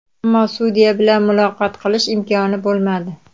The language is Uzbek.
Ammo sudya bilan muloqot qilish imkoni bo‘lmadi.